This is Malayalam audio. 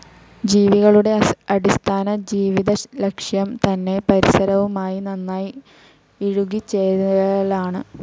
ജീവികളുടെ അടിസ്ഥാന ജീവിതലക്ഷ്യം തന്നെ പരിസരവുമായി നന്നായി ഇഴുകിച്ചേരലാണ്.